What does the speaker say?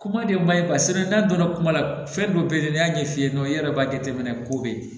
Kuma de ma ɲi n'a donna kuma la fɛn dɔ bɛ ye n'i y'a ɲɛ f'i ye dɔrɔn i yɛrɛ b'a jateminɛ ko bɛ yen